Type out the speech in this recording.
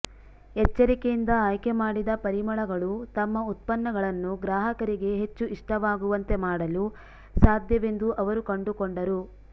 ಎಚ್ಚರಿಕೆಯಿಂದ ಆಯ್ಕೆಮಾಡಿದ ಪರಿಮಳಗಳು ತಮ್ಮ ಉತ್ಪನ್ನಗಳನ್ನು ಗ್ರಾಹಕರಿಗೆ ಹೆಚ್ಚು ಇಷ್ಟವಾಗುವಂತೆ ಮಾಡಲು ಸಾಧ್ಯವೆಂದು ಅವರು ಕಂಡುಕೊಂಡರು